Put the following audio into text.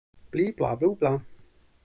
Og hann var rétt að hefjast.